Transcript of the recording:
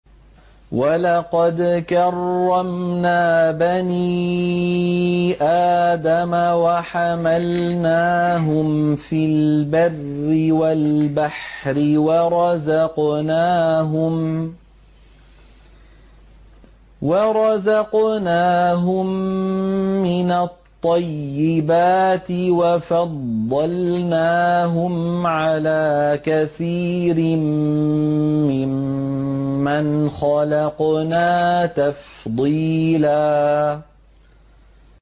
۞ وَلَقَدْ كَرَّمْنَا بَنِي آدَمَ وَحَمَلْنَاهُمْ فِي الْبَرِّ وَالْبَحْرِ وَرَزَقْنَاهُم مِّنَ الطَّيِّبَاتِ وَفَضَّلْنَاهُمْ عَلَىٰ كَثِيرٍ مِّمَّنْ خَلَقْنَا تَفْضِيلًا